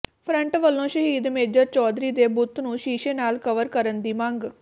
front ਵੱਲੋਂ ਸ਼ਹੀਦ major Chaudhary ਦੇ ਬੁੱਤ ਨੂੰ ਸ਼ੀਸ਼ੇ ਨਾਲ ਕਵਰ ਕਰਨ ਦੀ ਮੰਗ